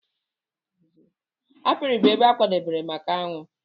apiary bụ ebe a kwadebere maka aṅụ.